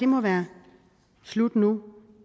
må være slut nu